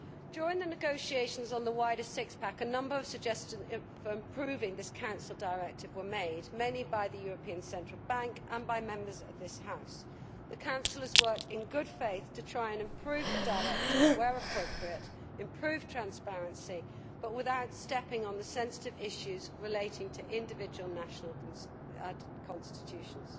During the negotiations on the wider six pack' a number of suggestions for improving this Council directive were made, many by the European Central Bank and by Members of this House. The Council has worked in good faith to try and improve the directive where appropriate and improve transparency, but without stepping on the sensitive issues relating to individual national constitutions.